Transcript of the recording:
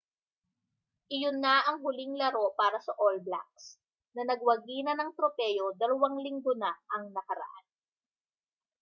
iyon na ang huling laro para sa all blacks na nagwagi na ng tropeo dalawang linggo na ang nakaraan